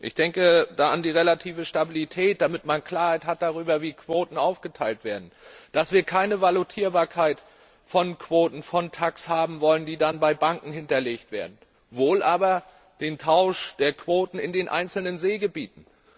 Ich denke da an die relative Stabilität, damit man Klarheit darüber hat, wie Quoten aufgeteilt werden, dass wir keine Valutierbarkeit von Quoten, von TACS haben wollen, die dann bei Banken hinterlegt werden, wohl aber den Tausch der Quoten in den einzelnen Seegebieten.